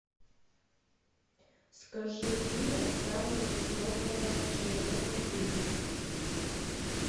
скажи имя самого высокого человека в мире